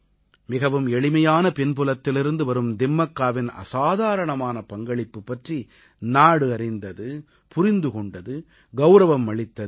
மிகவும் எளிமையான பின்புலத்திலிருந்து வரும் திம்மக்காவின் அசாதாரணமான பங்களிப்பு பற்றி நாடு அறிந்தது புரிந்து கொண்டது கௌரவம் அளித்தது